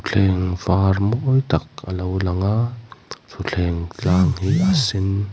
thleng var mawi tak alo lang a thutthleng tlang hi a sen.